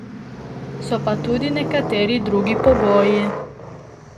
So pa tudi nekateri drugi pogoji.